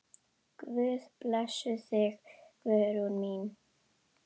Guð blessi þig, Guðrún mín.